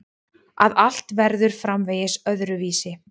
Að allt verður framvegis öðruvísi.